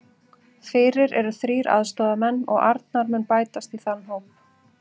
Fyrir eru þrír aðstoðarmenn og Arnar mun bætast í þann hóp.